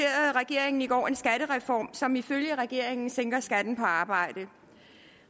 regeringen i går en skattereform som ifølge regeringen sænker skatten på arbejde